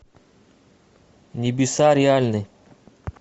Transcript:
небеса реальны